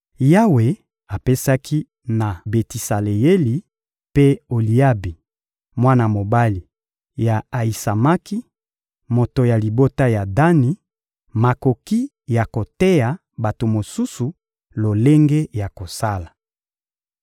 Yawe apesaki na Betisaleyeli mpe Oliabi, mwana mobali ya Ayisamaki, moto ya libota ya Dani, makoki ya koteya bato mosusu lolenge ya kosala.